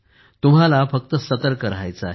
तुम्हाला फक्त सतर्क राहायचे आहे